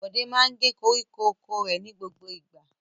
Bọ̀dé máa ń gé koríko oko rẹ̀ ní gbogbo ìgbà.